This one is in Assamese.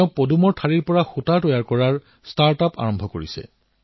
তেওঁ পদুমৰ ঠাঁৰিৰ পৰা সুতা বনোৱাৰ ষ্টাৰ্টআপৰ কাম আৰম্ভ কৰিছে